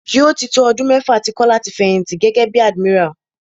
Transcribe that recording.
Yóò tí tó ọdún mẹ́fà tí Kọ́lá ti fẹ̀yìnti gẹ́gẹ́ bí admiral.